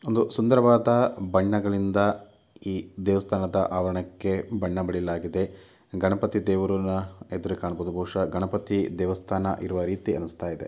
ಒಂದು ಸುಂದರವಾದ ಬಣ್ಣಗಳಿಂದ ಈ ದೇವಸ್ಥಾನದ ಆವರಣಕ್ಕೆ ಬಣ್ಣ ಬಳಿಯಲಾಗಿದೆ ಗಣಪತಿ ದೇವ್ರು ನಾ ಎದುರು ಕಾಣಬಹುದು ಬಹುಶಃ ಗಣಪತಿ ದೇವಸ್ಥಾನ ಇರುವ ರೀತಿ ಅನುಸ್ತಾ ಇದೆ.